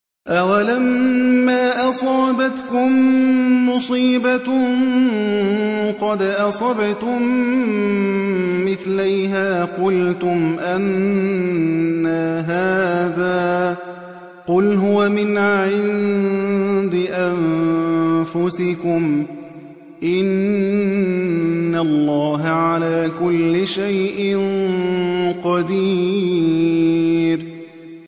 أَوَلَمَّا أَصَابَتْكُم مُّصِيبَةٌ قَدْ أَصَبْتُم مِّثْلَيْهَا قُلْتُمْ أَنَّىٰ هَٰذَا ۖ قُلْ هُوَ مِنْ عِندِ أَنفُسِكُمْ ۗ إِنَّ اللَّهَ عَلَىٰ كُلِّ شَيْءٍ قَدِيرٌ